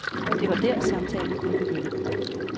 Det var der, samtalen kunne begynde.